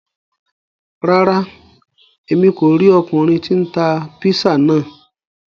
Ràrá, Èmí kó ríi ọkunrin tí n tá pizza náà